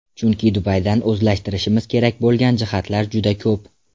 Chunki Dubaydan o‘zlashtirishimiz kerak bo‘lgan jihatlar juda ko‘p.